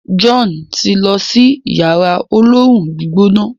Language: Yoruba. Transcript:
John ti n ló sí Yàrá olóoru-gbígbóná.